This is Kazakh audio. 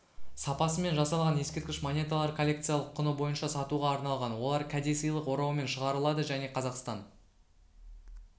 сапасымен жасалған ескерткіш монеталар коллекциялық құны бойынша сатуға арналған олар кәдесыйлық ораумен шығарылады және қазақстан